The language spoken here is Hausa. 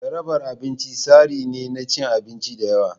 Jarabar abinci tsari ne na cin abinci da yawa.